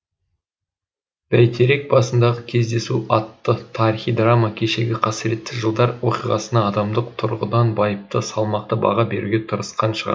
бәйтерек басындағы кездесу атты тарихи драма кешегі қасіретті жылдар оқиғасына адамдық тұрғыдан байыпты салмақты баға беруге тырысқан шығарма